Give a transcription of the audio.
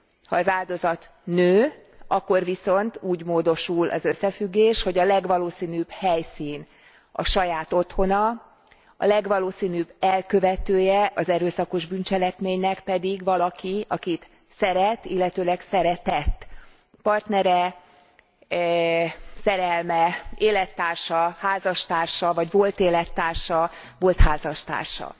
Ha az áldozat nő, akkor úgy módosul az összefüggés, hogy a legvalószínűbb helyszín a saját otthona, a legvalószínűbb elkövetője az erőszakos bűncselekménynek pedig valaki, akit szeret, illetőleg szeretett partnere, szerelme, élettársa, házastársa vagy volt élettársa, volt házastársa.